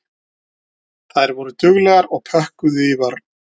Þær voru duglegar og pökkuðu í vörn.